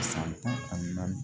San tan ani naani